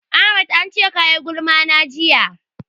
Ahmad an ce ka yi gulma na jiya.